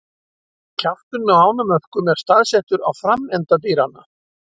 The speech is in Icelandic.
Kjafturinn á ánamöðkum er staðsettur á framenda dýranna.